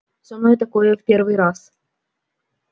со мной такое в первый раз